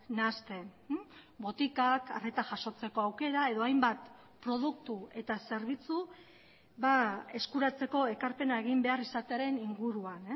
nahasten botikak arreta jasotzeko aukera edo hainbat produktu eta zerbitzu eskuratzeko ekarpena egin behar izatearen inguruan